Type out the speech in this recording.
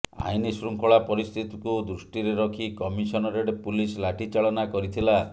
ଆଇନଶୃଙ୍ଖଳା ପରିସ୍ଥିତିକୁ ଦୃଷ୍ଟିରେ ରଖି କମିଶନରେଟ୍ ପୁଲିସ ଲାଠି ଚାଳନା କରିଥିଲା